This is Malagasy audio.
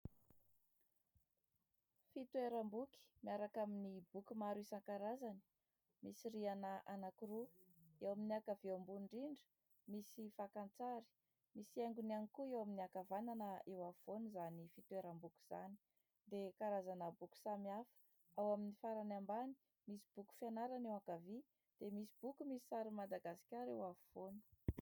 Fitoeram-boky miaraka amin'ny boky maro isankarazany, misy rihana anankiroa eo amin'ny ankavia ambony indrindra, misy fakan-tsary misy haingony ihany koa ; eo amin'ny ankavanana eo afovoany izany fitoeram-boky izany dia karazana boky samy hafa, ao amin'ny farany ambany misy boky fianarana, eo ankavia dia misy boky misy sary Madagasikara eo afovoany.